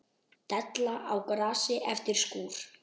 Della á grasi eftir skúr.